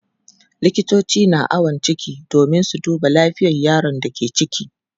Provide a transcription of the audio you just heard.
Likitoci na awon ciki domin su duba lafiyar yaron da ke ciki.